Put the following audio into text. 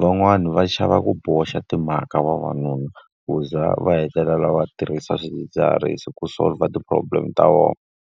Van'wani va xava ku boxa timhaka vavanuna, ku za va hetelela va tirhisa swidzidziharisi ku solver ti-problem ta vona.